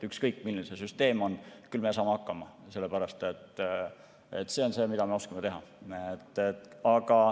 Ükskõik, milline see süsteem on, küll me saame hakkama, sellepärast et see on see, mida me oskame teha.